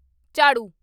ਝਾੜੂ